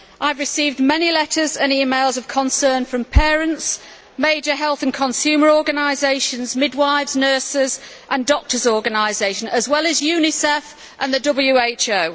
I have received many letters and emails of concern from parents, major health and consumer organisations, midwives, nurses and doctors' organisations, as well as Unicef and the WHO.